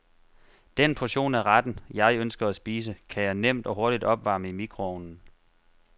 Den portion af retten, jeg ønsker at spise, kan jeg nemt og hurtigt opvarme i mikroovnen.